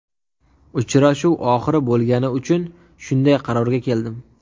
Uchrashuv oxiri bo‘lgani uchun shunday qarorga keldim.